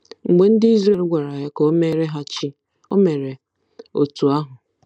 Mgbe ndị Izrel gwara ya ka o meere ha chi, o mere otú ahụ.